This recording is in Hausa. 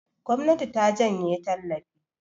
gwamnati ta janye tallafi